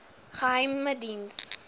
geheimediens